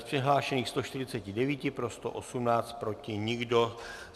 Z přihlášených 149 pro 118, proti nikdo.